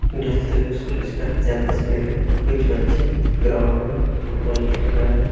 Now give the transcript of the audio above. ढलते हुए सूरज का यह तस्वीर है। कुछ बच्चे ग्राउंड में फुटबॉल खेल रहे हैं।